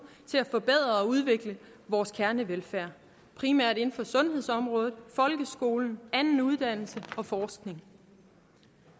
til at forbedre og udvikle vores kernevelfærd primært inden for sundhedsområdet folkeskolen anden uddannelse og forskning